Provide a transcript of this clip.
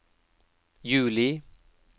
juli